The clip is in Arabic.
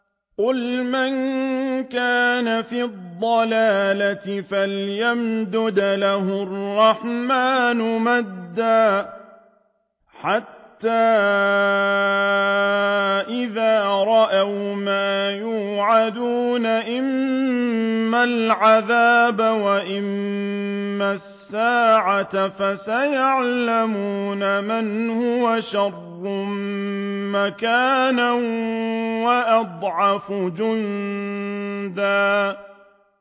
قُلْ مَن كَانَ فِي الضَّلَالَةِ فَلْيَمْدُدْ لَهُ الرَّحْمَٰنُ مَدًّا ۚ حَتَّىٰ إِذَا رَأَوْا مَا يُوعَدُونَ إِمَّا الْعَذَابَ وَإِمَّا السَّاعَةَ فَسَيَعْلَمُونَ مَنْ هُوَ شَرٌّ مَّكَانًا وَأَضْعَفُ جُندًا